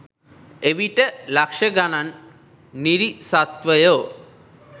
එවිට ලක්ෂ ගණන් නිරිසත්වයෝ